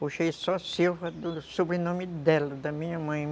Puxei só Silva do sobrenome dela, da minha mãe.